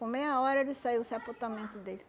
Com meia hora, ele saiu, o sepultamento dele.